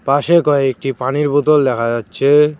পাশে কয়েকটি পানির বোতল দেখা যাচ্ছে।